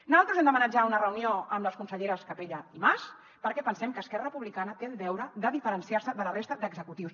nosaltres hem demanat ja una reunió amb les conselleres capella i mas perquè pensem que esquerra republicana té el deure de diferenciar se de la resta d’executius